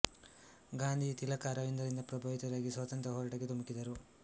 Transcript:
ಗಾಂಧೀಜಿ ತಿಲಕ ಅರವಿಂದ ರಿಂದ ಪ್ರಭಾವಿತರಾಗಿ ಸ್ವಾತಂತ್ರ್ಯ ಹೋರಾಟಕ್ಕೆ ಧುಮುಕಿದರು